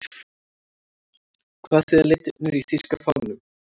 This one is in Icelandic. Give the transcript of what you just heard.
Hvað þýða litirnir í þýska fánanum?